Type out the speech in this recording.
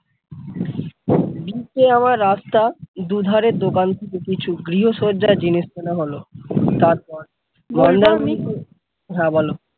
আমার রাস্তা দুধারে দোকান কিছু গৃহসজ্জার জিনিস কেনা হলো তারপর হ্যাঁ বল ।